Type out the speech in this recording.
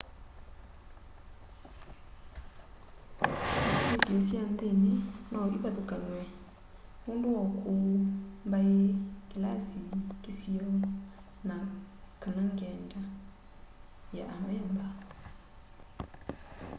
syithio sya nthini no ivathukanw'e nundu wa ukuu mbai kilasi kisio na/kana ngyenda ya amemba